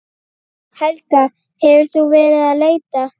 Helga: Hefur þú verið að leita?